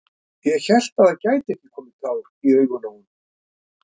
Ég hélt að það gætu ekki komið tár í augun á honum!